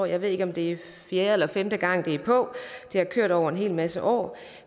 jeg ved ikke om det er fjerde eller femte gang det er på det har kørt over en hel masse år